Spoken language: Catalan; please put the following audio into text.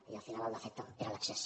i al final el defecte era l’excés